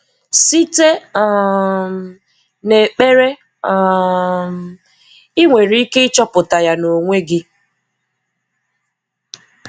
Site um n'ekpere um – ị nwere ike ịchọpụta ya n'onwe gị.